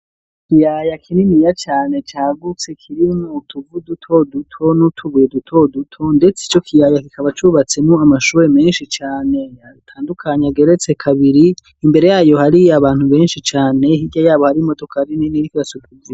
Ikiyaya kininiya cane cagutse kirimwo utuvu duto duto n'utubuye duto duto, ndetse ico kiyaya kikaba cubatsemwo amashure menshi cane atandukanye ageretse kabiri, imbere yayo hari abantu benshi cane, hirya yabo hari imodokari nini iriko irasuka ivu.